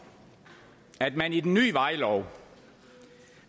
at man i den nye vejlov